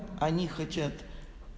они хотят